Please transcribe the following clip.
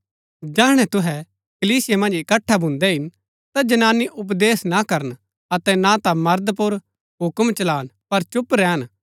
जैहणै तुहै कलीसिया मन्ज इकट्ठै भून्दै हिन ता जनानी उपदेश ना करन अतै ना ता मर्द पुर हुक्म चलान पर चुप रैहन